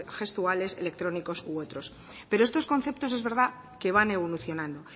gestuales electrónicos u otros pero estos conceptos es verdad que van evolucionando